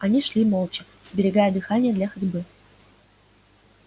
они шли молча сберегая дыхание для ходьбы